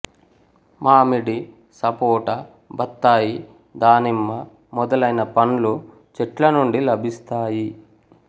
మామిడి సపోటా బత్తాయి దానిమ్మ మొదలైన పండ్లు చెట్ల నుండి లభిస్తాయి